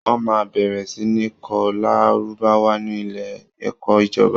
Wọ́n máa bẹ̀rẹ̀ sí ní kọ́ lárúbáwá ní ilé ẹ̀kọ́ ìjọba